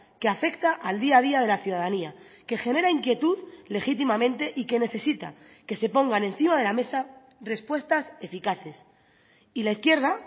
que afecta al día a día de la ciudadanía que genera inquietud legítimamente y que necesita que se pongan encima de la mesa respuestas eficaces y la izquierda